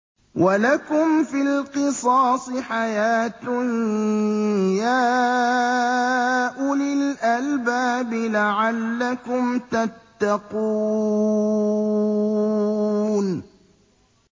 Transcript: وَلَكُمْ فِي الْقِصَاصِ حَيَاةٌ يَا أُولِي الْأَلْبَابِ لَعَلَّكُمْ تَتَّقُونَ